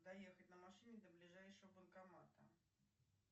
доехать на машине до ближайшего банкомата